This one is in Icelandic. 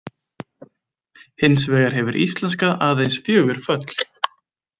Hins vegar hefur íslenska „aðeins“ fjögur föll.